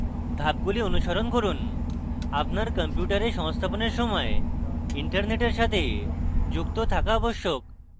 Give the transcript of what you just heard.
ধাপগুলি অনুসরণ করুন আপনার কম্পিউটার সংস্থাপনের সময় internet সাথে যুক্ত থাকা আবশ্যক